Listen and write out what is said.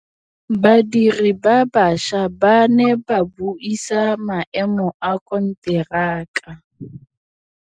Badiri ba baša ba ne ba buisa maêmô a konteraka.